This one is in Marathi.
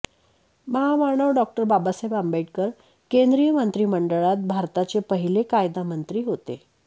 महामानव डॉ बाबासाहेब आंबेडकर केंद्रिय मंत्रीमंडळात भारताचे पहिले कायदामंत्री होते